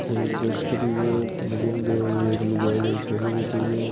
एक बस खड़ी है बठीने एक लुगाई एक छोरी बेठी है।